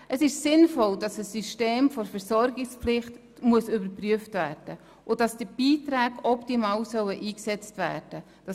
Es ist sinnvoll, dass das System der Versorgungspflicht überprüft werden muss und die Beiträge optimal eingesetzt werden sollen.